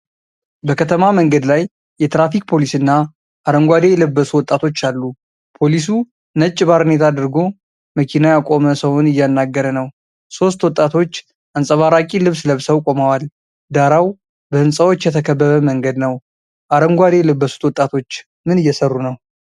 በከተማ መንገድ ላይ የትራፊክ ፖሊስና አረንጓዴ የለበሱ ወጣቶች አሉ። ፖሊሱ ነጭ ባርኔጣ አድርጎ መኪና ያቆመ ሰውን እያናገረ ነው። ሦስት ወጣቶች አንጸባራቂ ልብስ ለብሰው ቆመዋል። ዳራው በህንፃዎች የተከበበ መንገድ ነው። አረንጓዴ የለበሱት ወጣቶች ምን እየሰሩ ነው?